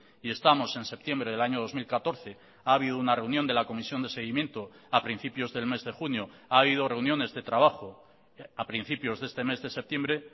y estamos en septiembre del año dos mil catorce ha habido una reunión de la comisión de seguimiento a principios del mes de junio ha habido reuniones de trabajo a principios de este mes de septiembre